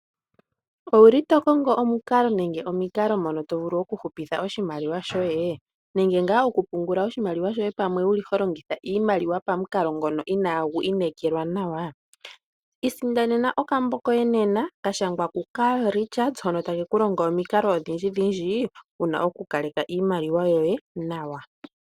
Owuli to kongo omukalo nenge omikalo mono tovulu oku hupitha oshimaliwa shoye nenge ngaa oku pungula oshimaliwa shoye pamwe holongitha iimaliwa pamukalo ngono inagu yela nawa. Isindanena okambo koye nena kashangwa ku Carl pilchards hono takeku longo omikalo odhindji nkene wuna oku kaleka iimaliwa yoye nawa.